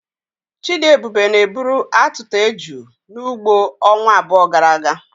Chidiebube na-eburu atuta eju n'ugbo ọnwa abụọ gara aga.